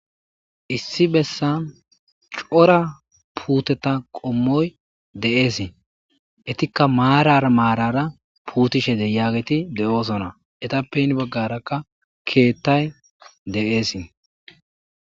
Issi bessan cora puuteta qommoy de7eesi etikka maarara maarara puutishe de yaageti de7oosona etappe ini baggarakka keettay de7ees.